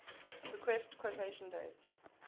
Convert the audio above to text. request quotation date